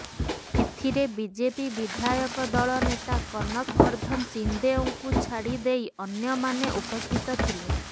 ଏଥିରେ ବିଜେପି ବିଧାୟକ ଦଳ ନେତା କନକ ବର୍ଧନ ସିଂହଦେଓଙ୍କୁ ଛାଡି ଦେଇ ଅନ୍ୟମାନେ ଉପସ୍ଥିତ ଥିଲେ